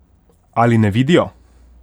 Ali ne vidijo?